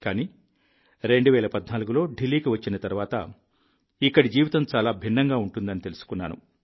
కానీ 2014లో ఢిల్లీకి వచ్చిన తర్వాత ఇక్కడి జీవితం చాలా భిన్నంగా ఉంటుందని తెలుసుకున్నాను